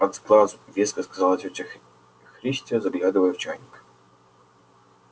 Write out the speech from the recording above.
от сглазу веско сказала тётя христя заглядывая в чайник